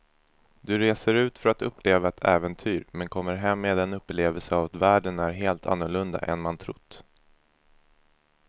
Du reser ut för att uppleva ett äventyr men kommer hem med en upplevelse av att världen är helt annorlunda än man trott.